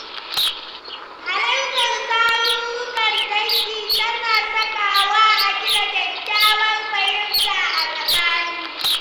Halartar tarurrukan dangi tana sakawa a gina kyakkyawar fahimta a tsakani.